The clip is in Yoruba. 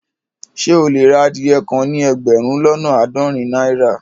Ṣẹ e le rà adìyẹ́ kàn ní ẹgbérùn lọ́nà aádọ́rìn naira?